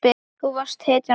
Þú varst hetjan okkar.